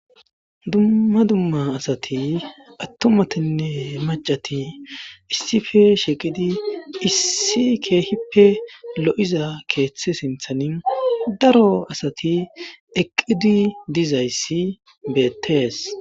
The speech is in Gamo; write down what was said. Dumma dumma asati attumatinne macati issife sheqidi issi keehippe lo7iza keeththe sinthani daro asati eqqidi dizayssi beettees.